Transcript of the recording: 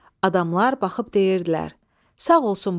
Adamlar baxıb deyirdilər: